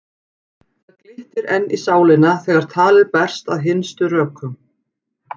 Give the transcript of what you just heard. Þannig glittir enn í sálina þegar talið berst að hinstu rökum.